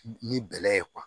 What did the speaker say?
Ni bɛlɛ ye